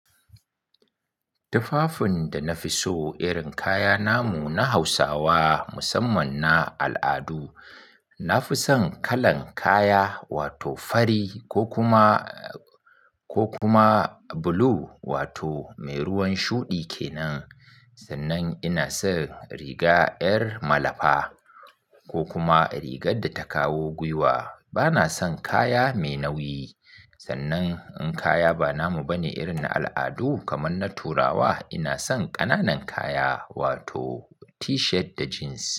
Tufafin da na fi so irin kaya namu na Hausawa musamman na al'adu, na fi son kalan kaya wato fari ko kuma, ko kuma blue wato mai ruwan shuɗi kenan. Sannan ina son riga ƴar malafa ko kuma rigar da ta kawo gwiwa. Bana son kaya mai nauyi. Sannan in kaya ba namu ba ne irin na al'adu kaman na Turawa, ina son ƙananan kaya wato T-shirt da jeans.